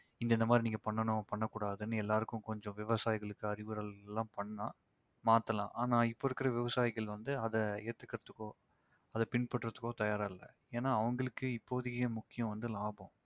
இங்க இந்த மாதிரி பண்ணனும் பண்ண கூடாதுன்னு எல்லாருக்கும் கொஞ்சம் விவசாயிகளுக்கு அறிவுரைகளெல்லாம் பண்ணா மாத்தலாம். ஆனா இப்ப இருக்கிற விவசாயிகள் வந்து அதை ஏத்துகிறதுக்கோ அதை பின்பற்றுவதற்க்கோ தயாரா இல்ல. ஏன்னா அவங்களுக்கே இப்போதைக்கு முக்கியம் வந்து லாபம்